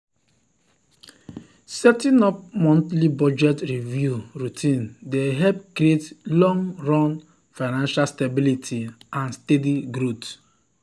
setting up monthly budget review routine dey help create long-run financial stability and steady growth.